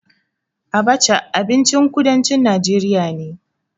Abaca abincin kudancin najeriya ne.